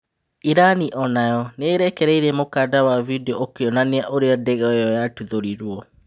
Irani onayo nĩ ĩ rekereirie mũkanda wa bindio ũkĩ onania ũrĩ a ndege ĩ yo yatuthũrirwo.